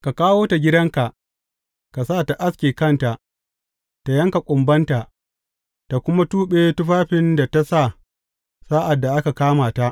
Ka kawo ta gidanka ka sa tă aske kanta, tă yanka kumbanta tă kuma tuɓe tufafin da ta sa sa’ad da aka kama ta.